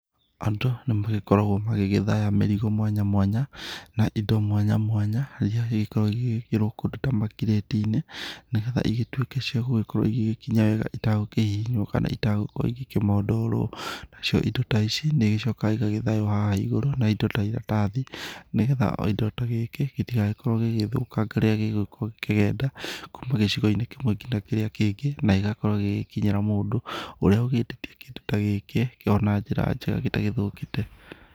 Andũ nĩ magĩkoragwo magĩgĩthaya mĩrigo mwanya mwanya na indo mwanya mwanya iria igĩkoragwo igĩgĩkĩrwo kũndũ ta makĩrĩti-inĩ. Nĩ getha cigĩtuĩke ciagũkorwo igĩgĩkinya wega itakũhihinywo kana itagũkorwo ikĩmondorwo. Nacio indo ta ici nĩ igĩcokaga igagĩthaywo haha igũrũ na indo ta iratathi, nĩ getha o indo ta gĩkĩ gĩtigagĩkorwo gĩgĩthũkanga rĩrĩa gĩgũgĩkorwo gĩkĩgenda kuma gĩcigo-inĩ kĩmwe ngina kĩrĩa kĩngĩ, na gĩgagĩkorwo gĩgĩkinyĩra mũndũ ũrĩa ũgĩtĩtie kĩndũ ta gĩkĩ kĩrĩ o na njĩra njega gĩtagĩthũkĩte.